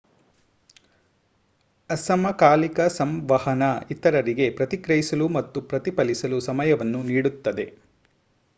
ಅಸಮಕಾಲಿಕ ಸಂವಹನ ಇತರರಿಗೆ ಪ್ರತಿಕ್ರಿಯಿಸಲು ಮತ್ತು ಪ್ರತಿಫಲಿಸಲು ಸಮಯವನ್ನು ನೀಡುತ್ತದೆ